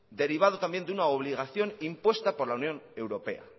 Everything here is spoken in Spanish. derivado también de una obligación impuesta por la unión europea